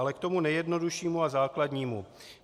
Ale k tomu nejjednoduššímu a základnímu.